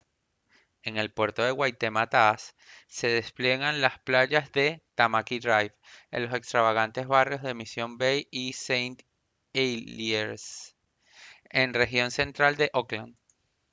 en el puerto de waitemataas se despliegan las playas de tamaki drive en los extravagantes barrios de mission bay y st heliers en la región central de auckland